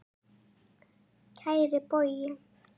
Kæri Bogi.